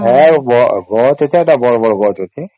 ଗଛ ଅଛେ ସେଟା ବଡ଼ ବଡ଼ ଗଛ ଅଛେ